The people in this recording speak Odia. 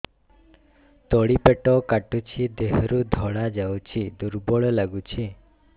ତଳି ପେଟ କାଟୁଚି ଦେହରୁ ଧଳା ଯାଉଛି ଦୁର୍ବଳ ଲାଗୁଛି